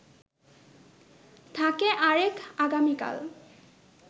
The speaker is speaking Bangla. থাকে আরেক আগামীকাল